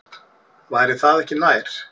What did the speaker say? Væri það ekki nær?